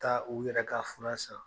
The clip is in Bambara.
Taa u yɛrɛ ka furan san